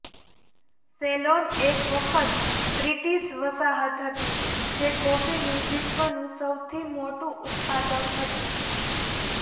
salon એક વખત British વસાહત હતી જે કોફીનું વિશ્વનું સૌથી મોટું ઉત્પાદક હતું